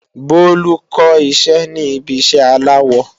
Bolu kó iṣẹ́ ní ibi iṣẹ́ aláwọ